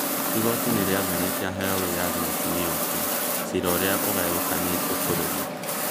Igooti nĩarathanĩte aheo wĩyathi mutumia ũcio cira ũrĩa ũgayũkanĩtie bũrũri